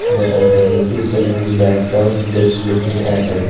there are many people in the background just looking at--